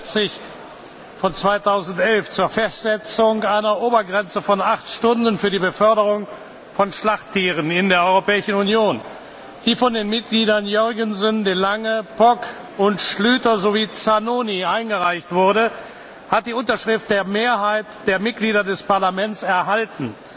49 von 2011 zur Festsetzung einer Obergrenze von acht Stunden für die Beförderung von Schlachttieren in der Europäischen Union, die von den Mitgliedern Jørgensen, de Lange, Poc, Schlyter und Zanoni eingereicht wurde, hat die Unterschriften der Mehrheit der Mitglieder des Parlaments erhalten.